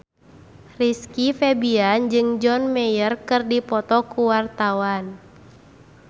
Rizky Febian jeung John Mayer keur dipoto ku wartawan